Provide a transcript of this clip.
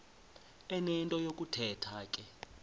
enento yokuthetha ke